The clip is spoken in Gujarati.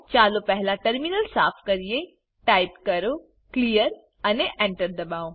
ચાલો પહેલા ટર્મિનલ સાફ કરીએટાઈપ કરો ક્લિયર અને enter દબાઓ